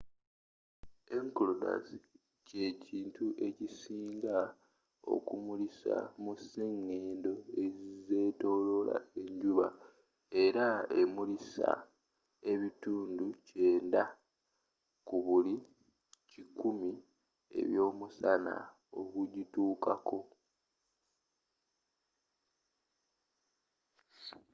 enceladus kye kintu ekisinga okumulisa mu ziseŋŋendo ezetoloola enjuba. era emulisa ebitundu kyenda 90 ku buli kikumi eby’omusana ogugituukako